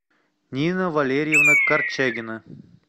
нина валерьевна корчагина